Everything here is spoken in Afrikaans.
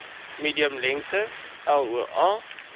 minimum lengte loa